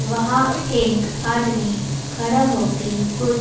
वहां एक आदमी खड़ा होके कुछ--